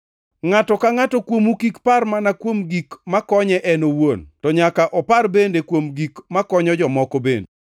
Ngʼato ka ngʼato kuomu kik par mana kuom gik makonye en owuon, to nyaka upar bende kuom gik makonyo jomoko bende.